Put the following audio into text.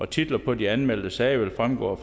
titler på de anmeldte sager vil fremgå af